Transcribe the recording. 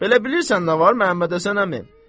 Belə bilirsən nə var, Məmmədhəsən əmi?